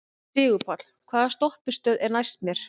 Sigurpáll, hvaða stoppistöð er næst mér?